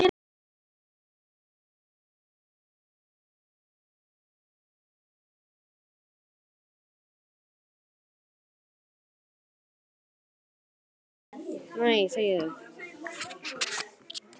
Pétur mágur minn er látinn.